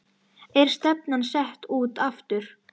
Er stefnan sett út aftur?